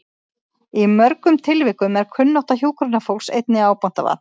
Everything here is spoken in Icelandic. Í mörgum tilvikum er kunnáttu hjúkrunarfólks einnig ábótavant.